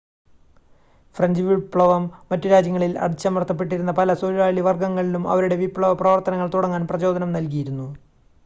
French വിപ്ലവം മറ്റു രാജ്യങ്ങളിൽ അടിച്ചമർത്തപ്പെട്ടിരുന്ന പല തൊഴിലാളി വർഗ്ഗങ്ങളിലും അവരുടെ വിപ്ലവപ്രവർത്തനങ്ങൾ തുടങ്ങാൻ പ്രചോദനം നൽകിയിരുന്നു